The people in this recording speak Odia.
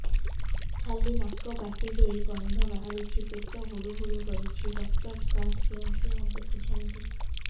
ଖାଲି ନାକ ପାଟି ଦେଇ ଗଂଧ ବାହାରୁଛି ପେଟ ହୁଡ଼ୁ ହୁଡ଼ୁ କରୁଛି ଡକ୍ଟର ସାର କେଉଁଠି ଦେଖୁଛନ୍ତ